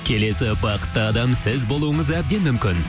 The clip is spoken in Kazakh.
келесі бақытты адам сіз болуыңыз әбден мүмкін